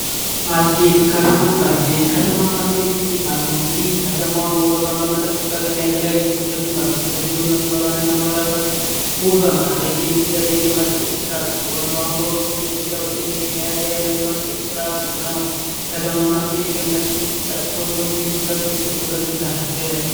ማስጌጥ ከተማን ማስጌጥ ከተማ ማስጌጥ የሚባለው እንግዲህ ከተማዋን ውበቷን በመጠበቅና የተለያዩ አትክልቶችን በመትከል እንዲሁም መስመሩሯን እና መብራቷን ውበት ማድረግ የሚደረግ የማስጌጥ ስርዓት ሲሆን፤ በአሁኑ ወቅት በኢትዮጵያ ውስጥ እየተካሄደ ያለው የማስጌጥ ስርአት ነው። ከተማን ማስጌጥ የሚያስቀምጣቸው ጎንዮሽ ጉዳት ዉስጥ ሁለቱን ተናገር።